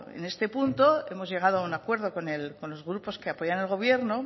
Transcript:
en este punto hemos llegado a un acuerdo con los grupos que apoyan el gobierno